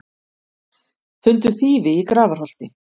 Fundu þýfi í Grafarholti